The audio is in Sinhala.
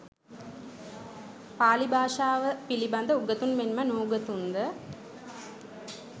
පාලි භාෂාව පිළිබඳ උගතුන් මෙන් ම නූගතුන් ද